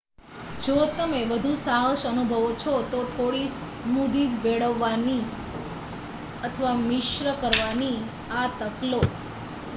જો તમે વધુ સાહસ અનુભવો છો તો થોડી સ્મૂથીસ ભેળવવાની અથવા મિશ્ર કરવાની આ તક લો